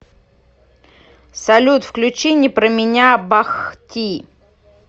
салют включи не про меня бах ти